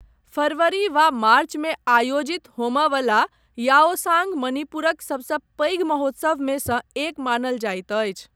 फरवरी वा मार्च मे आयोजित होमय वला याओसांग मणिपुरक सबसँ पैघ महोत्सवमे सँ एक मानल जाइत अछि।